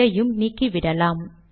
இதையும் நீக்கிவிடலாம்